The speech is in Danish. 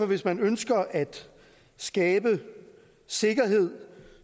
hvis man ønsker at skabe sikkerhed